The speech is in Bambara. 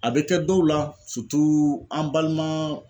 A bɛ kɛ dɔw la an balima